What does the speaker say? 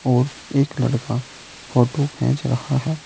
और एक लड़का फोटो खेंच रहा है।